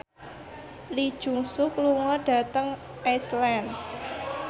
Lee Jeong Suk lunga dhateng Iceland